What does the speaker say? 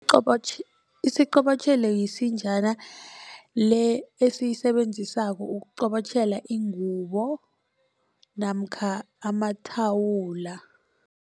Isiqobotjhelo yisinjana le esiyisebenzisako ukuqobotjhela ingubo namkha amathawula.